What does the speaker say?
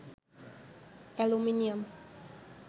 aluminium